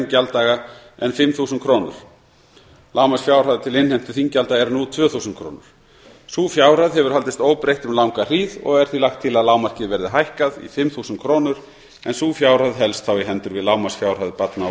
gjalddaga en fimm þúsund króna lágmarksfjárhæð til innheimtu þinggjalda er nú tvö þúsund krónur sú fjárhæð hefur haldist óbreytt um langa hríð og er því lagt til að lágmarkið verði hækkað í fimm þúsund krónur en sú fjárhæð helst þá í hendur við lágmarksfjárhæð barna og